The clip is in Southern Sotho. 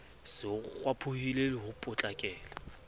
se ho kgwaphohile ho potlakela